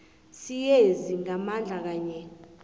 siyezi ngamandla kanye